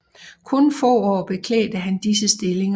Kun få år beklædte han disse stillinger